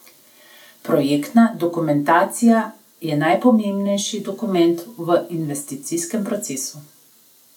Projektna dokumentacija je najpomembnejši dokument v investicijskem procesu.